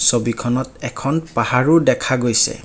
ছবিখনত এখন পাহাৰও দেখা গৈছে।